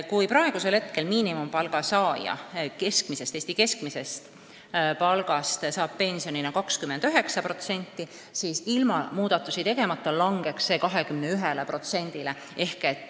Kui praegu makstakse miinimumpalga saanule pensioni, mille suurus on 29% Eesti keskmisest palgast, siis ilma muudatusi tegemata langeks see 21%-ni.